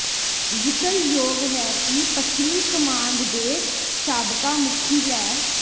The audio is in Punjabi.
ਜ਼ਿਕਰਯੋਗ ਹੈ ਕਿ ਪੱਛਮੀ ਕਮਾਂਡ ਦੇ ਸਾਬਕਾ ਮੁਖੀ ਲੈ